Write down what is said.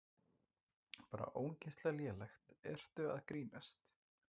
Bara ógeðslega lélegt, ertu að grínast?